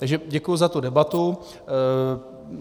Takže děkuji za tu debatu.